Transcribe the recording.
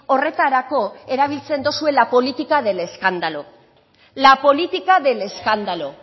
horretarako erabiltzen dozue la política del escándalo la política del escándalo